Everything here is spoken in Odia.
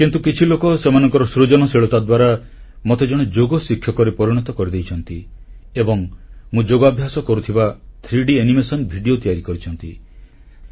କିନ୍ତୁ କିଛି ଲୋକ ସେମାନଙ୍କ ସୃଜନଶୀଳତା ଦ୍ୱାରା ମତେ ଜଣେ ଯୋଗ ଶିକ୍ଷକରେ ପରିଣତ କରିଦେଇଛନ୍ତି ଏବଂ ମୁଁ ଯୋଗାଭ୍ୟାସ କରୁଥିବା 3D ଆନିମେସନ୍ ଭିଡ଼ିଓ ତିଆରି କରିଛନ୍ତି